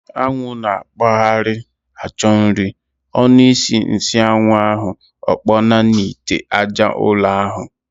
Anwụ n'akpagharị achọ nri, ọnu isi nsịanwu ahu, okponaa n'ite aja ụrọ ahu.